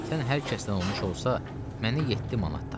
Sən hər kəsdən olmuş olsa, mənə yeddi manat tap.